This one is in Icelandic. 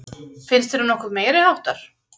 Finnst þér hún nokkuð meiriháttar?